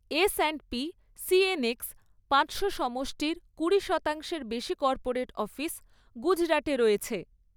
S and P CNX পাঁচশো সমষ্টির কুড়ি শতাংশ এর বেশি কর্পোরেট অফিস গুজরাটে রয়েছে।